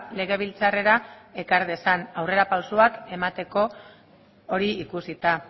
legebiltzarrera ekar dezan aurrerapausoak emateko hori ikusita